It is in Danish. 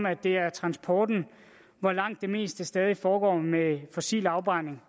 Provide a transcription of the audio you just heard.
at det er transporten hvor langt det meste stadig foregår med fossil afbrænding